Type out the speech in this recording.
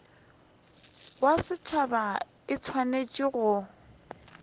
ya setšhaba e swanetše go